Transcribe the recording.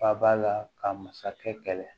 Ba ba la ka masakɛ kɛlɛ